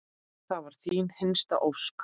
Það var þín hinsta ósk.